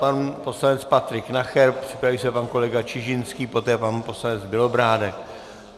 Pan poslanec Patrik Nacher, připraví se pan kolega Čižinský, poté pan poslanec Bělobrádek.